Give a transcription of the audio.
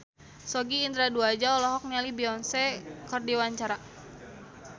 Sogi Indra Duaja olohok ningali Beyonce keur diwawancara